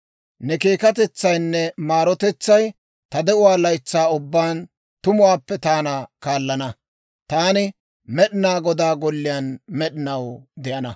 Ne keekkatetsaynne maarotetsay ta de'uwaa laytsaa ubbaan tumuwaappe taana kaallana. Taani Med'inaa Godaa golliyaan med'inaw de'ana.